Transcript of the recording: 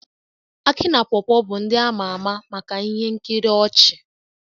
Akị na paw paw bụ ndị a ma ama maka ihe nkiri ọchị